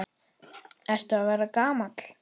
Ertu að verða gamall?